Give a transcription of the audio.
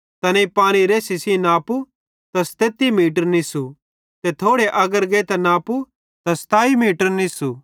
तैनेईं पानी रेसी सेइं नापु त 37 मीटर निससू ते थोड़े अग्गर गेइतां नापु त 27 मीटर निससू